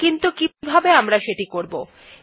কিন্তু কিভাবে আমরা এটি করবো160